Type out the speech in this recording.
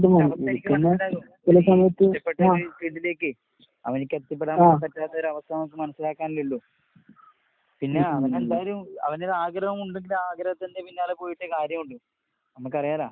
അവന്‍റെ അവസ്ഥ നമുക്ക് മനസ്സിലാകും ഇഷ്ടപ്പെട്ട ഇതിലേക്ക് അവന്ക്കെത്തിപ്പെടാൻ പറ്റാത്തൊരവസ്ഥ നമുക്ക് മനസ്സിലാക്കാനല്ലേ ഇള്ളൂ. പിന്നെ അവനെന്തായാലും അവനത് ആഗ്രഹമുണ്ടെങ്കിൽ ആ ആഗ്രഹത്തിന്റെ പിന്നാലെ പോയിട്ടേ കാര്യവുള്ളൂ. അമ്മക്കറിയാലാ.